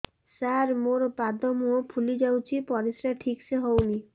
ସାର ମୋରୋ ପାଦ ମୁହଁ ଫୁଲିଯାଉଛି ପରିଶ୍ରା ଠିକ ସେ ହଉନି